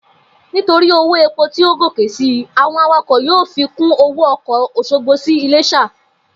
Nítorí owó epo tí ó gòkè si, àwo̩n awakò̩ yóò fi kún owó o̩kò̩ Ò̩sogbo sí Ilés̩à